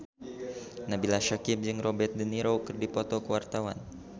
Nabila Syakieb jeung Robert de Niro keur dipoto ku wartawan